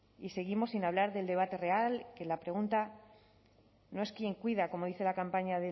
y seguimos sin hablar del debate real que la pregunta no es quién cuida como dice la campaña